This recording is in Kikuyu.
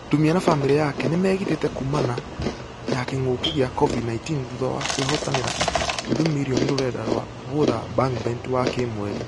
Ndumia na famĩrĩ yake nĩmegitete kuuma na ....ya kĩng'uki gia covid 19 thutha wa kwĩhotanira nuthu mirrioni ruranda rwa gũutha bangbet wa kĩmweri.